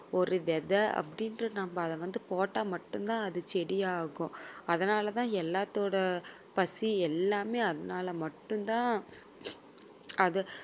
ஒரு விதை அப்படின்னு நம்ம அத வந்து போட்டா மட்டும்தான் அது செடியாகும். அதனாலதான் எல்லாத்தோட பசி எல்லாமே அதனால மட்டும் தான் அத